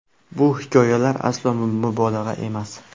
Bu hikoyalar aslo mubolag‘a emas.